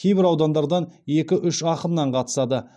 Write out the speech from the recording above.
кейбір аудандардан екі үш ақыннан қатысады